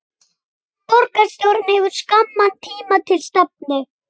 Borgarstjórn hefur skamman tíma til stefnu